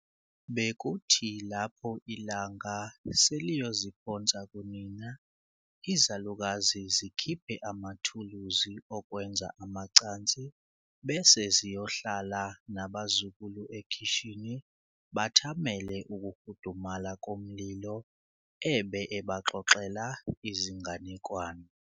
Bekuthi lapho ilanga seliyoziphonsa kunina izalukazi zikhiphe amathuluzi okwenza amacansi bese ziyohlala nabazukulu ekhishini bathamele ukufudumala komlilo ebe ebaxoxela izinganekwane.